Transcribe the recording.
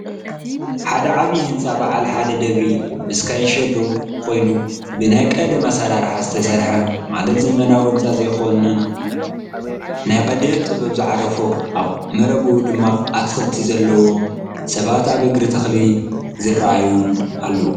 ሓደ ዓብይ ሕንፃ በዓል ሓደ ደብሪ ምስ ካንሸሎኡ ኮይኑ ብናይ ቀደም ኣሰራርሓ ዝተሰርሐ ማለት ዘመናዊ ሕንፃ ዘይኮን ናይ ቀደም ጥበብ ዝዓረፎን ኣብ መረባ ኡ ድማ ኣትክልቲ ዘሎዎም ሰባት ኣብ እግሪ ተኽሊ ዝረኣዩን ኣለዉ::